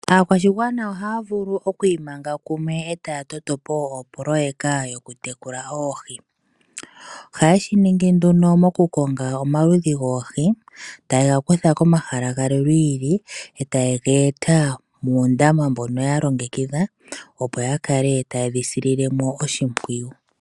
Aakwashigwana ohaya vulu okwiimanga kumwe eta ya toto po opololeka yokutekula oohi. Oha ye shiningi nduno mokukonga omaludhi goohi taye ga kutha komahala galwe gi ili etaye geeta moondama ndhono ya longekidha opo ya kale taye dhi sile oshimpwiyu.